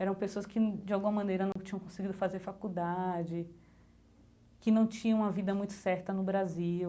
Eram pessoas que, de alguma maneira, não tinham conseguido fazer faculdade, que não tinham uma vida muito certa no Brasil.